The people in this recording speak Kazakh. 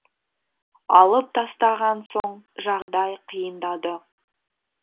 алып тастаған соң жағдай қиындады